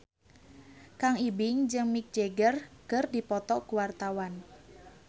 Kang Ibing jeung Mick Jagger keur dipoto ku wartawan